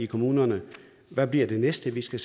kommunerne hvad bliver det næste vi skal